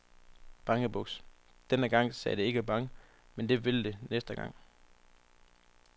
Bangebuks, denne gang sagde det ikke bang, men det vil det næste gang.